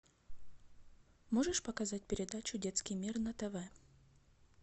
можешь показать передачу детский мир на тв